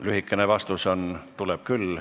Lühikene vastus on: tuleb küll.